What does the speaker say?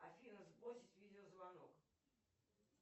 афина сбросить видеозвонок